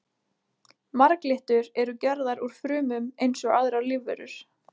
Marglyttur eru gerðar úr frumum eins og aðrar lífverur.